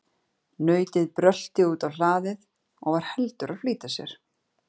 Nautið brölti út á hlaðið og var heldur að flýta sér.